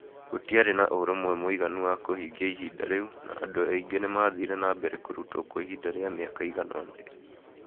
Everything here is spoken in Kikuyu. Gũtiarĩ na ũrũmwe mũiganu wa kũhingia ihinda rĩu, na andũ aingĩ nĩ maathire na mbere kũrutwo kwa ihinda rĩa mĩaka ĩigana ũna.